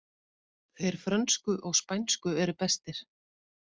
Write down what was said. Þeir frönsku og spænsku eru bestir